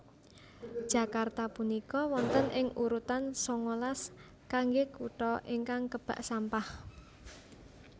Jakarta punika wonten ing urutan sangalas kangge kuto ingkang kebak sampah